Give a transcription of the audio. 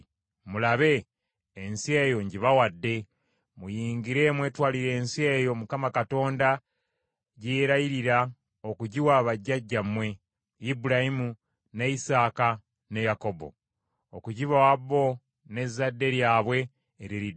Mulabe, ensi eyo ngibawadde. Muyingire mwetwalire ensi eyo Mukama Katonda gye yeerayirira okugiwa bajjajjammwe: Ibulayimu, ne Isaaka, ne Yakobo; okugibawa bo n’ezzadde lyabwe eririddawo.’